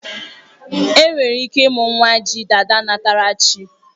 Enwere ike ịmụ nwa ji dada nnatara chi